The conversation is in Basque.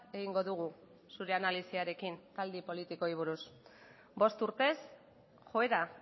egingo dugu zure analisiarekin hitzaldi politikoei buruz bost urtez joera